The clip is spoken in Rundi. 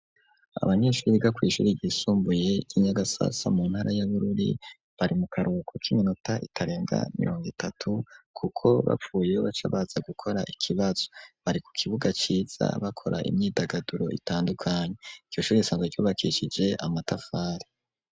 Abanyeshure biga kw'ishure ryisumbuye ry'inyagasasa mu ntara yabururi bari mu karhuko k'iminota itarenga miringo itatu kuko bapfuye baca baza gukora ikibazo bari ku kibuga ciza bakora imyidagaduro itandukanye iryo shure risanzwa ryubakishije amatafari.